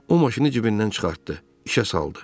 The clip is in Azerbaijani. O maşını cibindən çıxartdı, işə saldı.